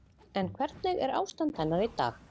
En hvernig er ástand hennar í dag?